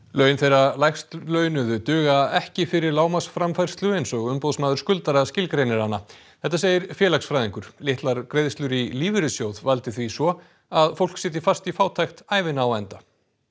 laun þeirra lægst launuðu duga ekki fyrir lágmarksframfærslu eins og Umboðsmaður skuldara skilgreinir hana þetta segir félagsfræðingur litlar greiðslur í lífeyrissjóð valdi því svo að fólk sitji fast í fátækt ævina á enda